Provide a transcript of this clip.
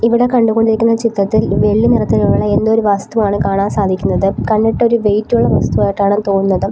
ഇവിടെ കണ്ടുകൊണ്ടിരിക്കുന്ന ചിത്രത്തിൽ വെള്ളി നിറത്തിലുള്ള എന്തോരു വസ്തുവാണ് കാണാൻ സാധിക്കുന്നത് കണ്ടിട്ട് ഒരു വെയിറ്റുള്ള വസ്തു ആയിട്ടാണെന്നാണ് തോന്നുന്നത്.